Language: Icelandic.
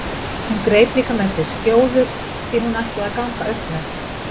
Hún greip líka með sér skjóður því hún ætlaði að ganga upp með